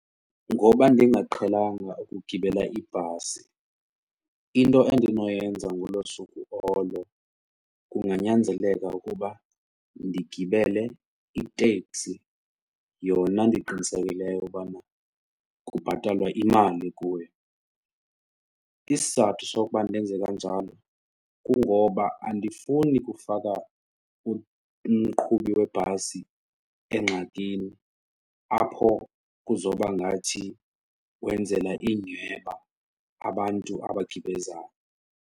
Ngoba ndingaqhelanga ukugibela ibhasi, into endinoyenza ngolo suku olo kunganyanzeleka ukuba ndigibele iteksi yona ndiqinisekileyo ubana kubhatalwa imali kuyo. Isizathu sokuba ndenze kanjalo kungoba andifuni kufaka umqhubi webhasi engxakini apho kuzoba ngathi wenzela inyhweba abantu abagibezayo.